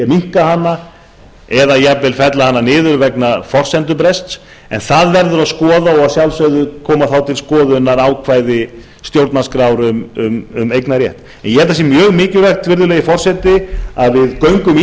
minnka hana eða jafnvel fella hana niður vegna forsendubrests en það verður að skoða og að sjálfsögðu koma þá til skoðunar ákvæði stjórnarskrár um eignarrétt ég held að það sé mjög mikilvægt virðulegi forseti að við göngum í